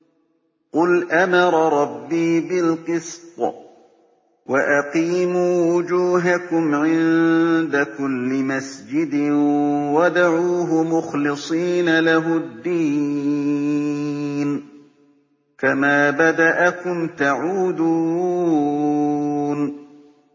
قُلْ أَمَرَ رَبِّي بِالْقِسْطِ ۖ وَأَقِيمُوا وُجُوهَكُمْ عِندَ كُلِّ مَسْجِدٍ وَادْعُوهُ مُخْلِصِينَ لَهُ الدِّينَ ۚ كَمَا بَدَأَكُمْ تَعُودُونَ